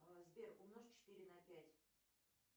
сбер умножь четыре на пять